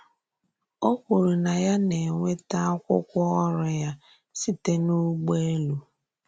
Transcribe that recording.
Ó kwùrù na ya na-enwètà akwúkwọ ọ̀rụ́ ya sịtè n’ùgbòèlù.